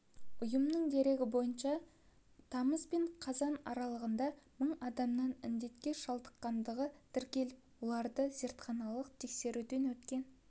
ұйымның дерегі бойынша тамыз бен қазан аралығында мың адамның індетке шалдыққандығы тіркеліп олардың зертханалық тексеруден өткен